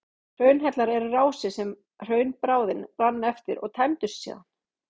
Hraunhellar eru rásir sem hraunbráðin rann eftir og tæmdust síðan.